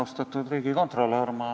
Austatud riigikontolör!